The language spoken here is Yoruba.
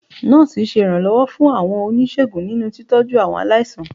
Nọ́ọ̀sì ṣe iranlọwọ fún àwọn onisegún ninú tíitọju awọn aláísàn.